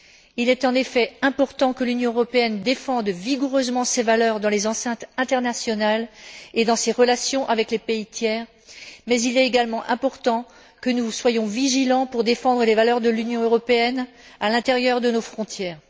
Il est en effet important que l'Union européenne défende vigoureusement ses valeurs dans les enceintes internationales et dans ses relations avec les pays tiers, mais il est également important que nous soyons vigilants pour défendre les valeurs de l'Union européenne à l'intérieur de nos frontières.